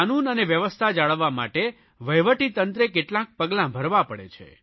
કાનૂન અને વ્યવસ્થા જાળવવા માટે વહીવટીતંત્રે કેટલાક પગલા ભરવા પડે છે